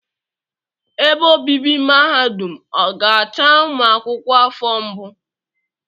Ebe obibi mahadum ọ ga-acha ụmụ akwụkwọ afọ mbụ?